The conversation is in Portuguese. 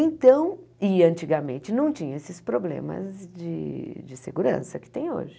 Então, e antigamente não tinha esses problemas de de segurança que tem hoje.